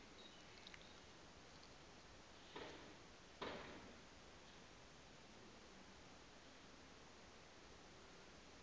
o be a tloga a